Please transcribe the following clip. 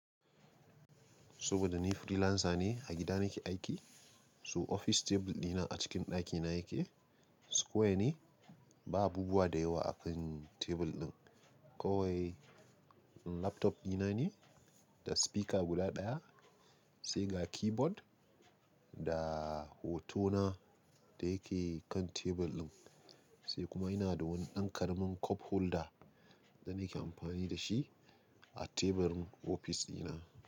Saboda ni freelancer ne, a gida nake aiki, so ofis tebur ɗina a cikin ɗakina yake. Square ne, ba abubuwa da yawa akan tebur ɗin, kawai laptop ɗina ne da speaker guda ɗaya sai ga keyboard da hoto na da yake kan tebur ɗin. Sai kuma ina da wani ɗan ƙaramin cup holder da nake amfani da shi a teburin ofis ɗina.